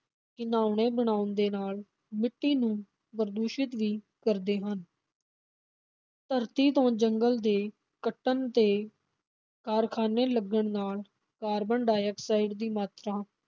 ਘਿਨਾਉਣਾ ਬਣਾਉਣ ਦੇ ਨਾਲ ਮਿੱਟੀ ਨੂੰ ਪ੍ਰਦੂਸ਼ਿਤ ਵੀ ਕਰਦੇ ਹਨ ਧਰਤੀ ਤੋਂ ਜੰਗਲਾਂ ਦੇ ਕੱਟਣ ਤੇ ਕਾਰਖ਼ਾਨੇ ਲੱਗਣ ਨਾਲ ਕਾਰਬਨ ਡਾਇਆਕਸਾਈਡ ਦੀ ਮਾਤਰਾ